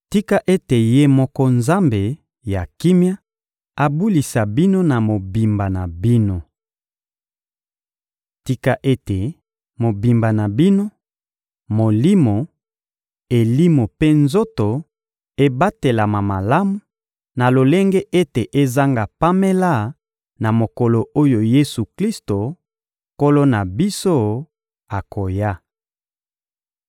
Tika ete Ye moko Nzambe ya kimia abulisa bino na mobimba na bino! Tika ete mobimba na bino, molimo, elimo mpe nzoto ebatelama malamu na lolenge ete ezanga pamela na mokolo oyo Yesu-Klisto, Nkolo na biso, akoya.